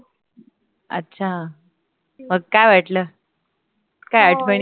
अच्छा मग काय वाटल? काय आठवणी?